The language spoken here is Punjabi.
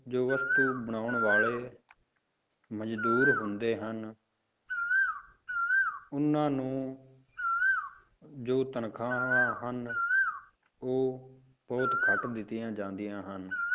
ਜੋ ਵਸਤੂ ਬਣਾਉਣ ਵਾਲੇ ਮਜ਼ਦੂਰ ਹੁੰਦੇ ਹਨ ਉਹਨਾਂ ਨੂੰ ਜੋ ਤਨਖ਼ਾਹਾਂ ਹਨ, ਉਹ ਬਹੁਤ ਘੱਟ ਦਿੱਤੀਆਂ ਜਾਂਦੀਆਂ ਹਨ,